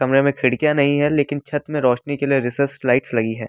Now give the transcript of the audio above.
कमरे में खिड़कियां नहीं है लेकिन छत में रोशनी के लिए रिसर्च लाइट्स लगी है।